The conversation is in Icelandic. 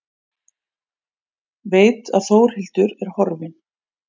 Veit að Þórhildur er horfin.